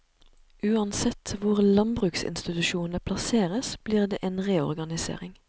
Uansett hvor landbruksinstitusjonene plasseres blir det en reorganisering.